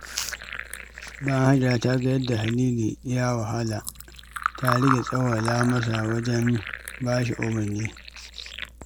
Bayan Hajara ta ga yadda Halilu ya wahala, ta rage tsawwala masa wajen ba shi umurni.